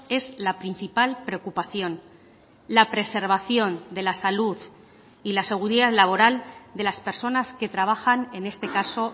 es la principal preocupación la preservación de la salud y la seguridad laboral de las personas que trabajan en este caso